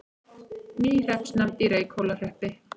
Ný hreppsnefnd í Reykhólahreppi